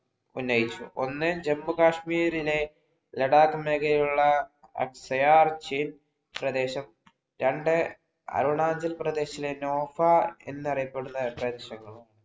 ഉന്നയിച്ചു. ഒന്ന് ജമ്മു-കശ്മീരിനെ ലഡാക് മേഖലയിലുള്ള അക്ഷയാർചിപ് പ്രദേശം. രണ്ട് അരുണാചൽ പ്രദേശിലെ നോപ്പാ എന്നറിയപ്പെടുന്ന പ്രദേശങ്ങളും